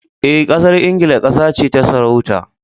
Eh, Ƙasar Ingila ƙasa ce ta sarauta.